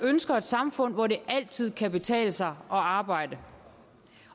ønsker et samfund hvor det altid kan betale sig at arbejde